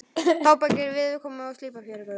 Tábergið var viðkomu eins og slípað fjörugrjót.